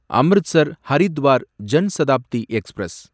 Amritsar Haridwar Jan Shatabdi express